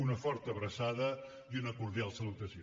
una forta abraçada i una cordial salutació